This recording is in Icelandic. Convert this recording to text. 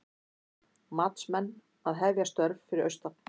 Matsmenn að hefja störf fyrir austan